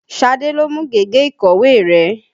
Ṣadé ló mú gègé ìkọ̀wé rẹ.